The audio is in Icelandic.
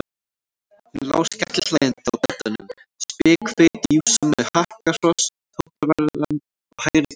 Hún lá skellihlæjandi á beddanum, spikfeit jússa með hakakross tattóveraðan á hægri kinn.